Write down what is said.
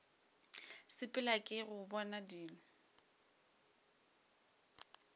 sepela ke go bona dilo